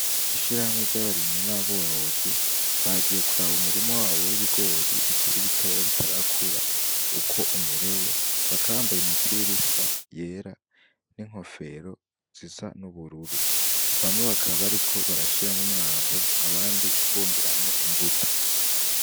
Ishirahamwe ry'abarimyi n'aborozi bagiye kuraba umurima wawo w'ibigori bikiri bitoya bitarakura ukwo umerewe baka bambaye imipira isa yera n'inkofero ziza n'ubururu bamwe bakababariko barashiramwo umwavu abandi bongeramwo imbuto.